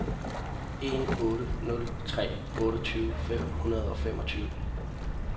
en otte nul tre otteogtyve fem hundrede og femogtyve